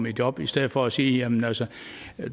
i job i stedet for at sige jamen altså